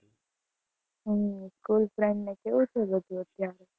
હમ school friend ને કેવું છે બધું અત્યારે?